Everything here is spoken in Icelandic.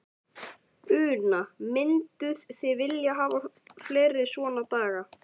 Una: Mynduð þið vilja hafa fleiri svona daga?